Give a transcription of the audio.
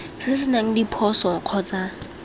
se se senang diphoso kgotsa